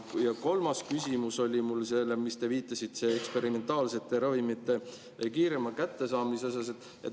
Ja kolmas küsimus on mul eksperimentaalsete ravimite kiirema kättesaamise teemal.